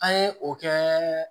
An ye o kɛ